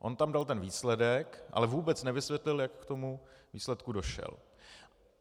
On tam dal ten výsledek, ale vůbec nevysvětlil, jak k tomu výsledku došel.